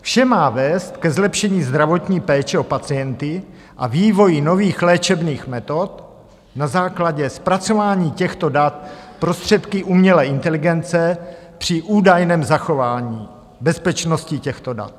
Vše má vést ke zlepšení zdravotní péče o pacienty a vývoji nových léčebných metod na základě zpracování těchto dat prostředky umělé inteligence při údajném zachování bezpečnosti těchto dat.